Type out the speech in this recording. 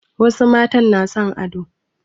Wasu matan na son ado.